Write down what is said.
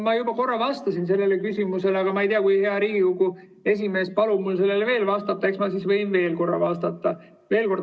Ma juba korra vastasin sellele küsimusele, aga kui hea Riigikogu esimees palub mul sellele veel vastata, eks ma võin veel korra vastata.